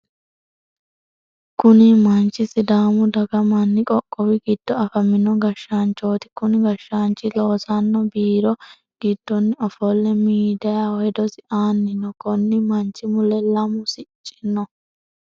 Kunni manchi sidaamu daga manni qoqqowi gido afaminno gashaanchooti. Kunni gashaanchi loosano biiro gidoonni ofole miidiyaho hedosi aanni no. Konni manchi mule lamu sicci no.